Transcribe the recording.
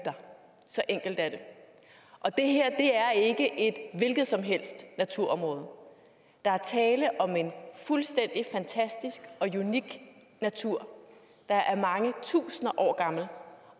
der så enkelt er det det her er ikke et hvilket som helst naturområde der er tale om en fuldstændig fantastisk og unik natur der er mange tusind år gammel